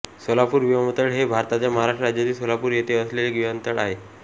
सोलापूर विमानतळ हे भारताच्या महाराष्ट्र राज्यातील सोलापूर येथे असलेले विमानतळ आहे